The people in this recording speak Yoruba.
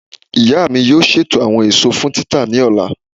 Iya mi yoo ṣeto awọn eso fun tita ni ọla.